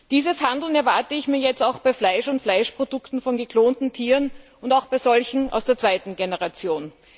Dieses Handeln erwarte ich mir jetzt auch bei Fleisch und Fleischprodukten von geklonten Tieren und auch bei solchen aus der zweiten Generation.